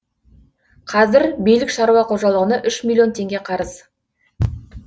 қазір билік шаруа қожалығына үш миллион теңге қарыз